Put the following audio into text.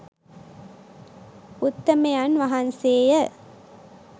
උත්තමයන් වහන්සේ ය.